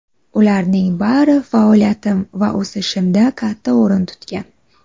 Ularning bari faoliyatim va o‘sishimda katta o‘rin tutgan.